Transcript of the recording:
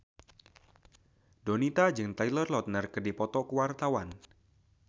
Donita jeung Taylor Lautner keur dipoto ku wartawan